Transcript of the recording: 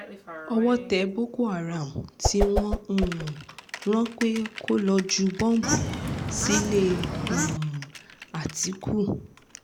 owó tẹ boko haram tí wọ́n um rán pé kó lọ jù bọ́bú sílẹ̀ um àtíkù